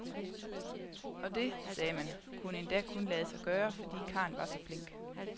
Og det, sagde man, kunne endda kun lade sig gøre, fordi karlen var så flink.